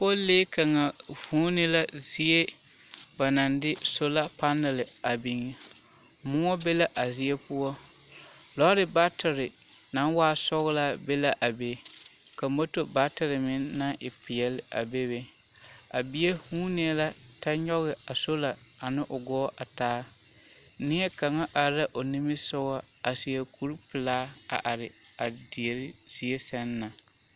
Pulee kaŋa vūūnee la zie ba naŋ de sola panale a biŋ moɔ be la a zie poɔ lɔre batire naŋ waa sɔglaa be la a be ka moto baatire meŋ naŋ e peɛle a bebe a bie huunee la kyɛ nyoge a sola ane o gɔɔ a taa neɛ kaŋa are la o nimisugɔ a seɛ kuripelaa a are a dere zie sɛŋ na.